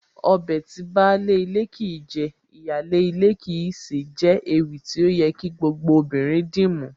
Ọbẹ̀ tí baálé ilé kìí jẹ, ìyáálé ilé kìí sè é jẹ́ ewì tí ó yẹ kí gbogbo obìnrin dìmú